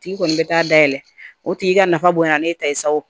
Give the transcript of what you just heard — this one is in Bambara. Tigi kɔni bɛ taa da yɛlɛ o tigi ka nafa bonya ne ye ta sa o